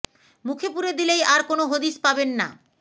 মুখে পুরে দিলেই আর কোনো হদিস পাবেন না